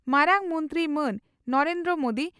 ᱢᱟᱨᱟᱝ ᱢᱚᱱᱛᱨᱤ ᱢᱟᱱ ᱱᱚᱨᱮᱱᱫᱨᱚ ᱢᱚᱫᱤ